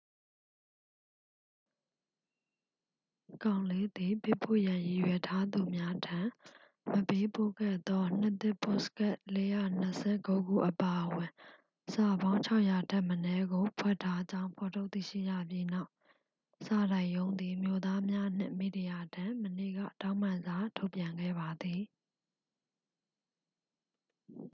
ကောင်လေးသည် ပေးပို့ရန်ရည်ရွယ်ထားသူများထံ မပေးပို့ခဲ့သော နှစ်သစ်ပို့စကတ် 429 ခုအပါအဝင် စာပေါင်း 600 ထက်မနည်းကို ဖွက်ထားကြောင်း ဖော်ထုတ်သိရှိရပြီးနောက် စာတိုက်ရုံးသည် မြို့သားများနှင့် မီဒီယာထံ မနေ့က တောင်းပန်စာထုတ်ပြန်ခဲ့ပါသည်